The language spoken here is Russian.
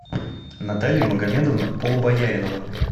наталья магомедовна полубояринова